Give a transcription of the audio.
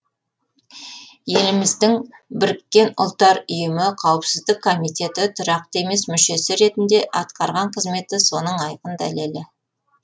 еліміздің біріккен ұлттар ұйымы қауіпсіздік комитеті тұрақты емес мүшесі ретінде атқарған қызметі соның айқын дәлелі